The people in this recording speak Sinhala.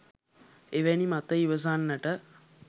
එවැනි මත ඉවසන්නට